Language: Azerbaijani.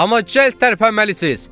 Amma cəld tərpənməlisiz!